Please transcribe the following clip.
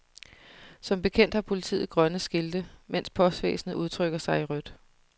Som bekendt har politiet grønne skilte, mens postvæsenet udtrykker sig i rødt.